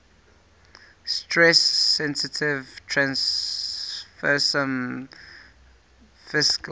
stress sensitive transfersome vesicles